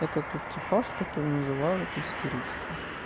это тот типаж который называют истеричка